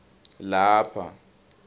lapha